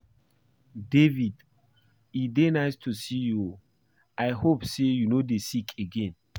David e dey nice to see you oo, I hope say you no dey sick again?